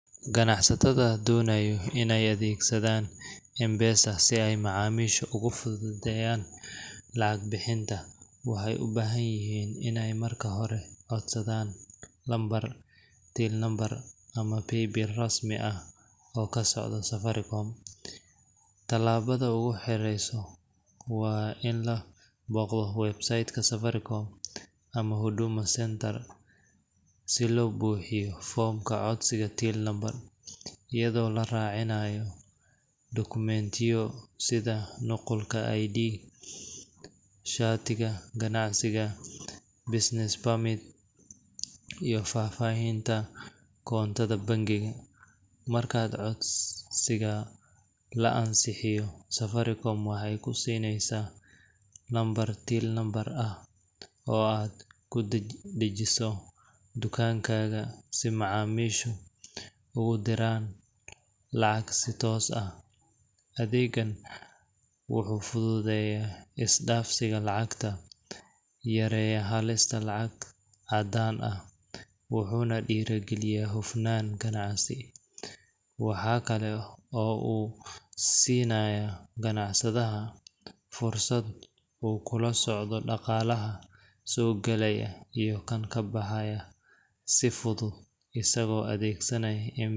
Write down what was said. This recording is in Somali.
Ganacsatada doonaya inay adeegsadaan M-PESA si ay macaamiisha ugu fududeeyaan lacag bixinta, waxay u baahan yihiin inay marka hore codsadaan lambar till number ama paybil l rasmi ah oo ka socda Safaricom. Tallaabada ugu horreysa waa in la booqdo website ka Safaricom ama Huduma Centre si loo buuxiyo foomka codsiga Till Number, iyadoo la raacinayo dukumeentiyo sida nuqulka ID, shatiga ganacsiga business permit, iyo faahfaahinta koontada bangiga. Marka codsiga la ansixiyo, Safaricom waxay ku siinaysaa lambar Till Number ah oo aad ku dhajiso dukaankaaga si macaamiishu ugu diraan lacag si toos ah. Adeeggan wuxuu fududeeyaa is-dhaafsiga lacagta, yareeyaa halista lacag caddaan ah, wuxuuna dhiirrigeliyaa hufnaan ganacsi. Waxa kale oo uu siinayaa ganacsadaha fursad uu kula socdo dhaqaalaha soo gala iyo kan baxa si fudud, isagoo adeegsanaya M-PESA.